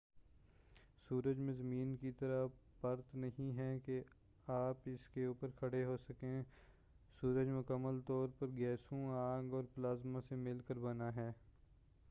سورج میں زمین کی طرح پرت نہیں ہے کہ آپ اسکے اوپر کھڑے ہو سکیں سورج مکمل طور پر گیسوں آگ اور پلازمہ سے مل کر بنا ہے